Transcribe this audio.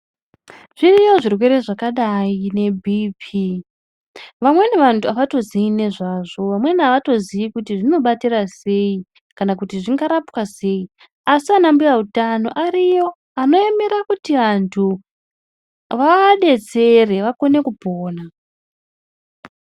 Zviriyo zvirwere zvakadai ne BP vamweni vandu avato zii nezvazvo vamweni avatozi kuti zvino batira sei kana kuti zvinga rapwa sei asi ana mbuya utano ariyo ano emera kuti andu vaabetsere vaone kupona.